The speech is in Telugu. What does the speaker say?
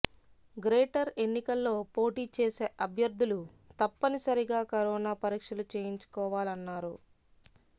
గ్రేటర్ ఎన్నికల్లో పోటీ చేసే అభ్యర్థులు తప్పనిసరిగా కరోనా పరీక్షలు చేయించుకోవాలన్నారు